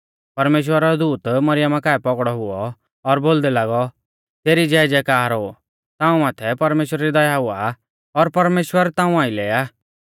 परमेश्‍वरा रौ दूत मरियमा काऐ पौगड़ौ हुऔ और बोलदै लागौ तेरी ज़ैज़ै कार हो ताऊं माथै परमेश्‍वरा री दया हुई आ और परमेश्‍वर ताऊं आइलै आ